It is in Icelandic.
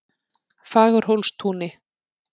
Fagurhólstúni